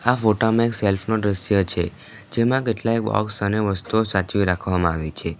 આ ફોટામાં એક સેલ્ફ નો દ્રશ્ય છે જેમાં કેટલાય બોક્સ અને વસ્તુઓ સાચવી રાખવામાં આવી છે.